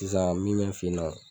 Sisan min me n fɛ yen nɔ